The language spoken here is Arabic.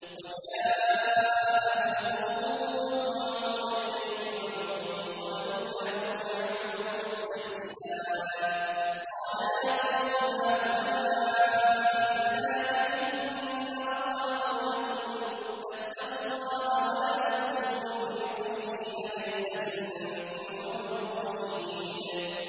وَجَاءَهُ قَوْمُهُ يُهْرَعُونَ إِلَيْهِ وَمِن قَبْلُ كَانُوا يَعْمَلُونَ السَّيِّئَاتِ ۚ قَالَ يَا قَوْمِ هَٰؤُلَاءِ بَنَاتِي هُنَّ أَطْهَرُ لَكُمْ ۖ فَاتَّقُوا اللَّهَ وَلَا تُخْزُونِ فِي ضَيْفِي ۖ أَلَيْسَ مِنكُمْ رَجُلٌ رَّشِيدٌ